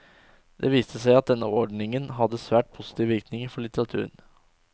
Det viste seg at denne ordningen hadde svært positive virkninger for litteraturen.